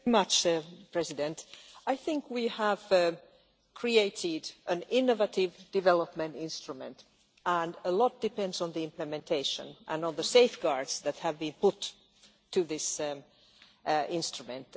Mr President, I think we have created an innovative development instrument, and a lot depends on the implementation and on the safeguards that have been put in this instrument.